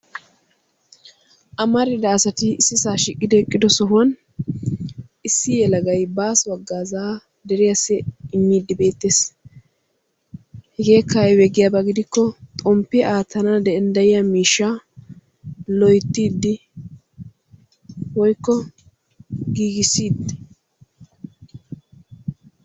Amarida asati issisa shiiqidi eqqido sohuwan issi yelagay baaso haggazza deriyasi immidi beetees. Hegeeka aybe giyaba giko xomppe attanawu danddayiya miishsha loyttidi woykko gigissiidi.